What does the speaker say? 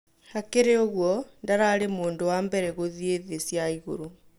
Hakĩrĩ ũgũo, ndararĩ mũndũ wa mbere gũthiĩ thĩ cĩa ĩgũrũ